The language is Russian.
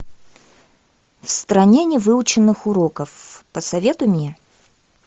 в стране невыученных уроков посоветуй мне